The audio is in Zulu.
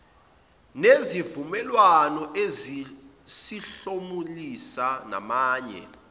nezivumelwano ezizosihlomulisa namanye